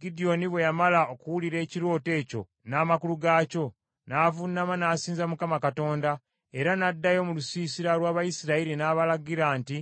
Gidyoni bwe yamala okuwulira ekirooto ekyo n’amakulu gaakyo, n’avuunama n’asinza Mukama Katonda; era n’addayo mu lusiisira lw’Abayisirayiri n’abalagira nti,